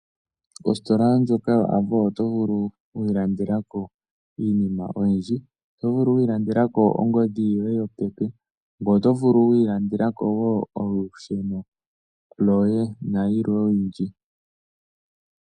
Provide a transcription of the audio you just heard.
Ositola ndjoka yoAvo oto vulu okwiilandela ko iinima oyindji, oto vulu okwiilandela ko ongodhi yoye yopeke, ngoye oto vulu okwiilandela ko wo olusheno loye nayilwe oyindji.